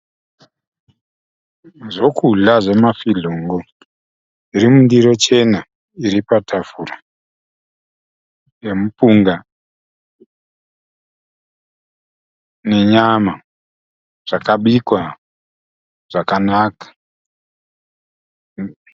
Zvokudya zvomafizhongo zviri mundiro chena iri patafura nemupunga nenyama zvakabikwa zvakanaka.